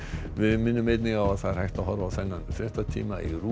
við minnum einnig á að það er hægt að horfa á þennan fréttatíma í RÚV